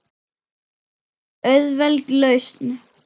Auðveld lausn.